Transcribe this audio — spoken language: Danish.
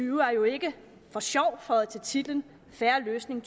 jo ikke for sjov føjet til titlen fair løsning